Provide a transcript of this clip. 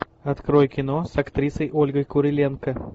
открой кино с актрисой ольгой куриленко